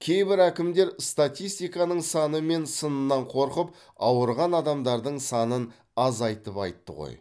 кейбір әкімдер статистиканың саны мен сынынан қорқып ауырған адамдардың санын азайтып айтты ғой